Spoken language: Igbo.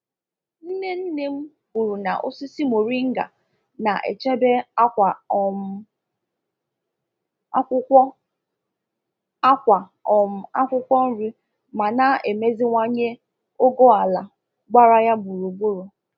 Nne nne m kwuru na osisi moringa na-echebe akwa um akwụkwọ akwa um akwụkwọ nri ma na-emeziwanye ogo ala gbara ya gburugburu.